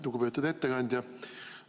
Lugupeetud ettekandja!